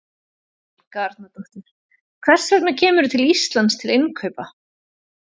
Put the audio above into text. Helga Arnardóttir: Hvers vegna kemurðu til Íslands til innkaupa?